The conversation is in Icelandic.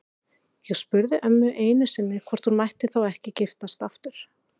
Ég spurði ömmu einu sinni hvort hún mætti þá ekki giftast aftur.